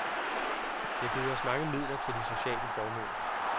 Det har givet os mange midler til de sociale formål.